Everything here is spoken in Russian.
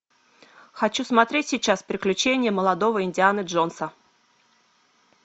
хочу смотреть сейчас приключения молодого индианы джонса